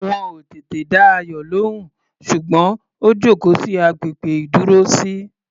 Wọn ò tètè dá Ayọ̀ lóhùn, ṣùgbọ́n ó jókòó sí agbègbè ìdúrósí.